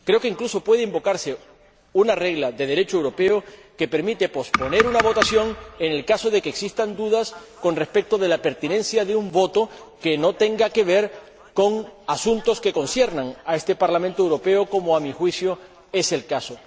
Creo que, incluso, puede invocarse una regla de Derecho europeo que permite posponer una votación en el caso de que existan dudas con respecto de la pertinencia de un voto que no tenga que ver con asuntos que conciernan a este Parlamento Europeo, como, a mi juicio, es el caso.